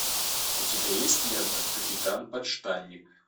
у тебя есть лента капитан подштанник